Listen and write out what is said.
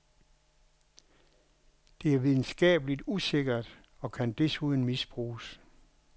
Det er videnskabeligt usikkert og kan desuden misbruges.